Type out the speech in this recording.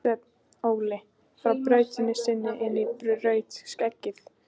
Sveinn Óli brá flautunni sinni inn í rautt skeggið.